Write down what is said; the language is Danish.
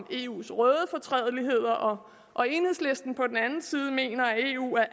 eus røde fortrædeligheder og enhedslisten på den anden side mener at eu er